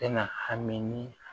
Bɛna hami ni